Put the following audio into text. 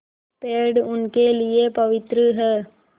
पेड़ उनके लिए पवित्र हैं